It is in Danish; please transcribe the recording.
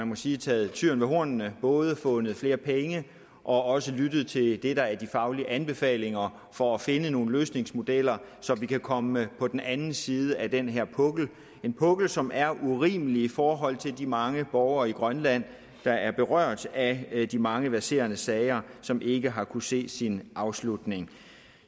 må sige taget tyren ved hornene både fundet flere penge og også lyttet til det der er de faglige anbefalinger for at finde nogle løsningsmodeller så vi kan komme på den anden side af den her pukkel en pukkel som er urimelig i forhold til de mange borgere i grønland der er berørt af de mange verserende sager som ikke har kunnet se sin afslutning